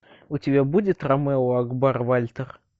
у тебя будет ромео акбар вальтер